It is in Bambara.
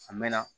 A mɛn na